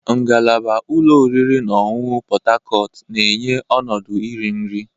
Ngalaba ụlọ oriri na ọṅụṅụ Pot Tarcot na-enye ọnọdụ iri nri.